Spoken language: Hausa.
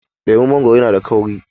leman mangoro yana da kauri